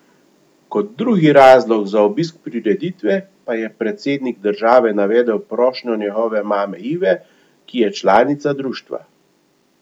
Kot drugi razlog za obisk prireditve pa je predsednik države navedel prošnjo njegove mame Ive, ki je članica društva.